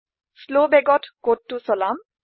শ্লৱ বেগত কোডটো চলাম